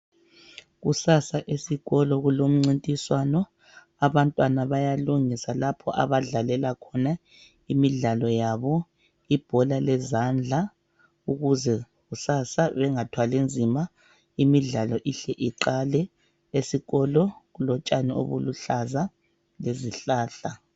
Kusasa esikolo kulomncintiswano abantwana bayalungisa lapho abadlalela khona imidlalo yabo, ibhora lezandla ukuze kusasa bengathwali nzima imidlalo ihle iqale. Esikolo kulotshani obuluhlaza lezihlahla.